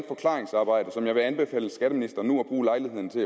forklaringsarbejde som jeg vil anbefale skatteministeren at bruge lejligheden til